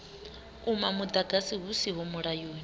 uma muḓagasi hu siho mulayoni